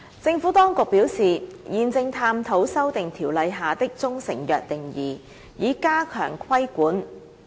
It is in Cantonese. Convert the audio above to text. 政府當局表示，現正探討修訂《條例》下的中成藥定義，以加強規管。